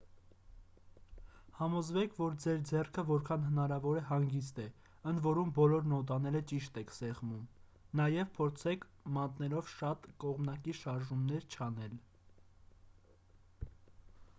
համոզվեք որ ձեր ձեռքը որքան հնարավոր է հանգիստ է ընդ որում բոլոր նոտաները ճիշտ եք սեղմում նաև փորձեք մատներով շատ կողմնակի շարժումներ չանել